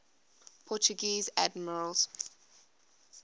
portuguese admirals